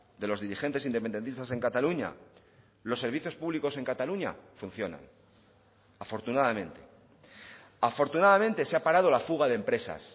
de los dirigentes independentistas en cataluña los servicios públicos en cataluña funcionan afortunadamente afortunadamente se ha parado la fuga de empresas